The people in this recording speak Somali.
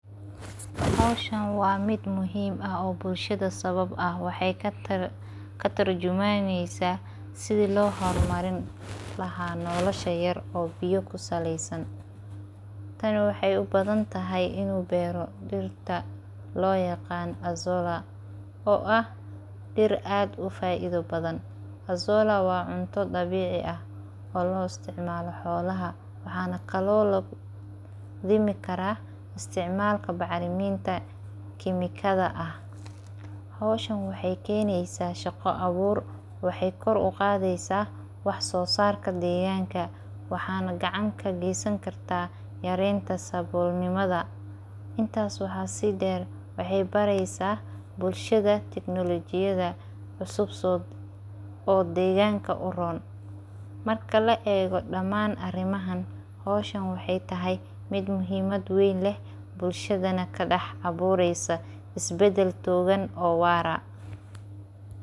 Howshaan waa mid muhiim ah oo bulshada sabab ah waxeey katurjumaneysaa sidi loo hor marin laha nolasha yar oo biyo kusaleesan tani waxeey ubahantahay dhirta loo yaqaan azolla oo ah dhir aad ufaaida badan azolla waa cunta dabiici ah oo loo isticmaalo xoolaha waxaana kaloo lagu dhimi karaa isticmalka bacriminta kimikada ah hoowshan waxeey keenisa shaqa abuur waxeey kor uqaadisaa wax soo saarka deeganga waxaana gacan ka geesan kartaa yareenta saboolnimada intaas waxaa sii dheer waxeey bareysa bulshada tiknolojiyada cusub oo deeganka uroon marka la eego dhaman arimahan howshan waxeey tahay mid muhimad ween leh bulshadana ka dhex abureysa isbadal togan oo waara.